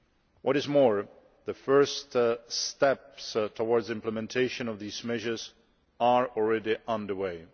What is more, the first steps towards implementation of these measures are already under way.